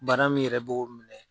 Bana min yɛrɛ b'o minɛ